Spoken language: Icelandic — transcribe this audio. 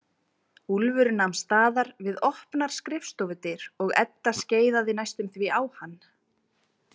Úlfur nam staðar við opnar skrifstofudyr og Edda skeiðaði næstum því á hann.